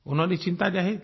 उन्होंने चिंता जाहिर की